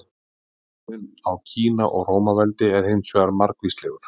Mismunurinn á Kína og Rómaveldi er hins vegar margvíslegur.